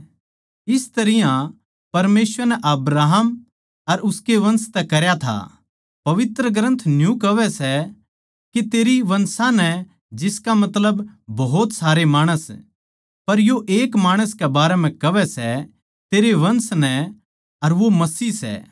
इस तरियां परमेसवर नै वादा अब्राहम अर उसकै वंश तै करया था पवित्र ग्रन्थ न्यू कोणी कहवै के तेरी वंशां नै जिसका मतलब भोत सारे माणस पर यो एक माणस के बारें म्ह कहवै सै तेरै वंश नै अर वो मसीह सै